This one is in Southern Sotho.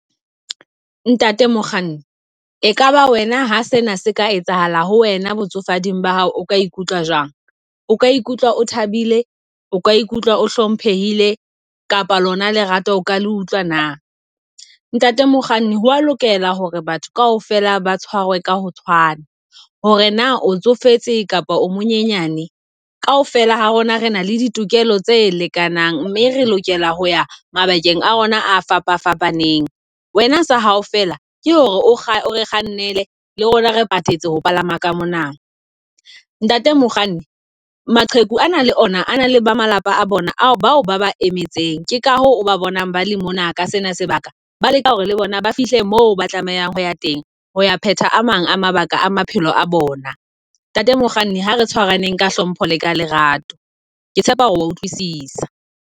Ntate mokganni e kaba wena ha sena se ka etsahala ho wena botsofadi ba hao o ka ikutlwa jwang. O ka ikutlwa o thabile, o ka ikutlwa o hlomphehile kapa lona lerato o ka le utlwa na? Ntate Mokganni ho a lokela hore batho kaofela ba tshwarwe ka ho tshwana. Hore na o tsofetse kapa o monyenyane, kaofela ha rona re na le ditokelo tse lekanang, mme re lokela ho ya mabakeng a rona a fapa fapaneng. Wena sa hao fela ke hore o kgannele le rona re patetse ho palama ka mona. Ntate mokganni, maqheku a na le ona a na le ba malapa a bona bao ba ba emetseng. Ke ka ho ba bonang ba le mona ka sena sebaka. Ba leka hore le bona ba fihle mo tlamehang ho ya teng. Hoya pheta a mang a mabaka a maphelo a bona. Ntate mokganni ha re tshwaraneng ka hlompho le ka lerato. Ke tshepa hore wa utlwisisa.